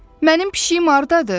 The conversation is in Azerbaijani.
Mənim pişiyim hardadır?